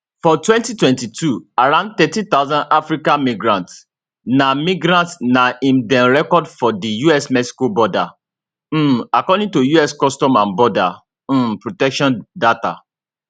for 2022 around 13000 african migrants na migrants na im dem record for di usmexico border um according to us customs and border um protection data